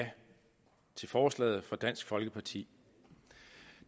ja til forslaget fra dansk folkeparti